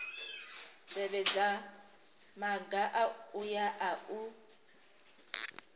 tevhedza maga aya a u